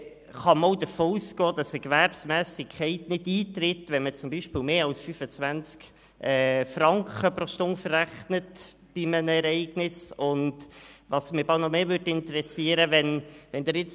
Kann man auch davon ausgehen, dass eine Gewerbsmässigkeit nicht vorliegt, wenn man zum Beispiel eine Dienstleistung mit mehr als 25 Franken pro Stunde verrechnet?